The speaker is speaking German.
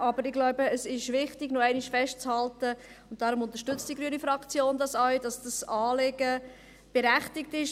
Aber ich glaube, es ist wichtig, noch einmal festzuhalten – und deshalb unterstützt die Fraktion Grüne dies auch –, dass dieses Anliegen berechtigt ist.